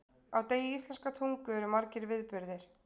Á degi íslenskrar tungu eru margir viðburðir.